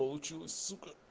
получилось сука